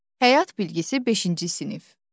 Həyat bilgisi beşinci sinif.